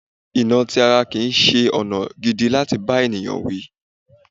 Ìnà ti ara kìí ṣe ọ̀nà gidi láti bá ènìyàn wí.